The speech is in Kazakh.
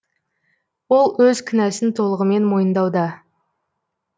ол өз кінәсін толығымен мойындауда